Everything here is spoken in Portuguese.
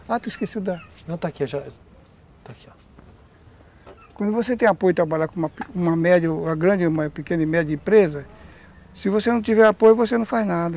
Ah, tu esqueceu da... Não, está aqui, ó. Está aqui, ó. Quando você tem apoio de trabalhar com uma grande ou uma pequena e média empresa, se você não tiver apoio, você não faz nada.